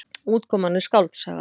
Útkoman er skáldsaga.